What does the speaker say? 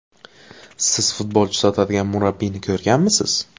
Siz futbolchi sotadigan murabbiyni ko‘rganmisiz?